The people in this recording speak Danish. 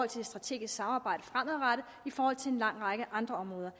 til et strategisk samarbejde fremadrettet og til en lang række andre områder